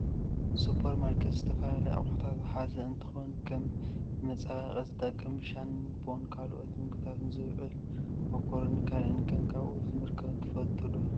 ሱፐር ማርኬት ዝተፈላለዩ ኣቁሑታት ዝሓዘ እንትከውን ከም ንመፀባበቂ ዝጠቅም ሻንቦን ካልኦትን ንምግብነት ዝውዕል ማኮረኒን ካልእን ከም ኣብኡ ከምዝርከብ ትፈልጡ ዶ ?